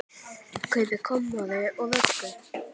Kaupi kommóðu og vöggu.